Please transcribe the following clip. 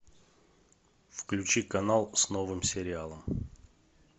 включи канал с новым сериалом